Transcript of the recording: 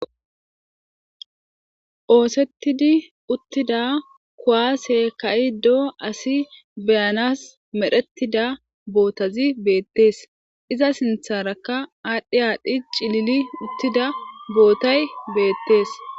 Oosettidi uttida kuwaase ka7iiddo asi be7anas medhettida bootazi beettees. Iza sinthaarakka aadhdhi aadhdhi cilili uttida bootay beettees.